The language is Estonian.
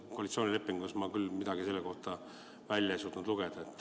Koalitsioonilepingust ma küll midagi selle kohta välja ei suutnud lugeda.